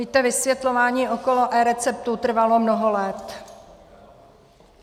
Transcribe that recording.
Víte, vysvětlování okolo eReceptů trvalo mnoho let.